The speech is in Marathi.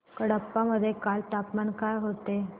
कडप्पा मध्ये काल तापमान काय होते